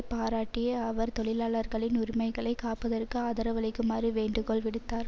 பாராட்டிய அவர் தொழிலாளர்களின் உரிமைகளை காப்பதற்கு ஆதரவளிக்குமாறு வேண்டுகோள் விடுத்தார்